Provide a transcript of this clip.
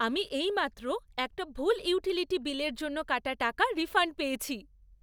আমি এইমাত্র একটা ভুল ইউটিলিটি বিলের জন্য কাটা টাকা রিফাণ্ড পেয়েছি।